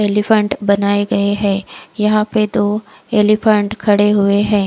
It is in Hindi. एलीफैंट बनाये गये है यहा पे दो एलीफैंट खडे हुए है।